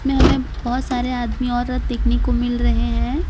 मैं हमें बहोत सारे आदमी औरत देखने को मिल रहे हैं।